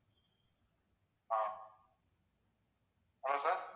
ah hello sir